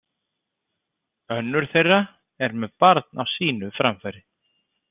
Önnur þeirra er með barn á sínu framfæri.